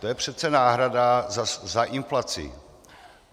To je přece náhrada za inflaci.